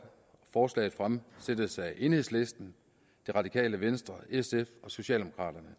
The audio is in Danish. forslaget fremsættes af enhedslisten det radikale venstre sf og socialdemokraterne